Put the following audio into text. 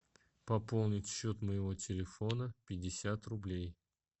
пополнить счет моего телефона пятьдесят рублей